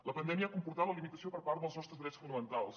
la pandèmia ha comportat la limitació dels nostres drets fonamentals